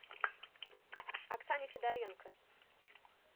оксане федоренко